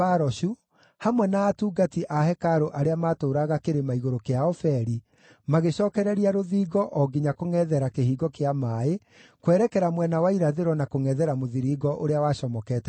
hamwe na atungati a hekarũ arĩa maatũũraga kĩrĩma-igũrũ kĩa Ofeli magĩcookereria rũthingo o nginya kũngʼethera Kĩhingo kĩa Maaĩ kwerekera mwena wa irathĩro na kũngʼethera mũthiringo ũrĩa wacomokete na igũrũ.